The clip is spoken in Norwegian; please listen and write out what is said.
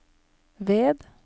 ved